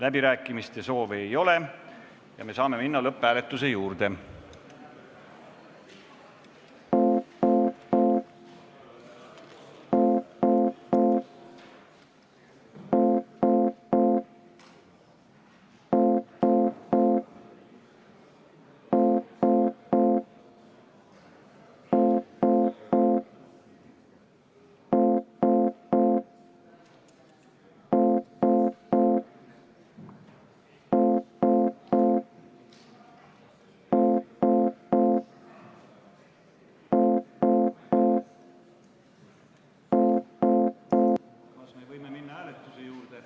Läbirääkimiste soovi ei ole, me saame minna lõpphääletuse juurde.